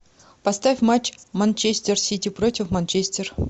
поставь матч манчестер сити против манчестер